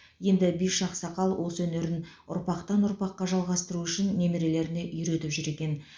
енді биші ақсақал осы өнерін ұрпақтан ұрпаққа жалғастыру үшін немерелеріне үйретіп жүр екен